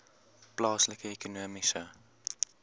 plaaslike ekonomiese